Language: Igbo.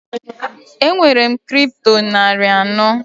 Enwere m Kripto narị anọ.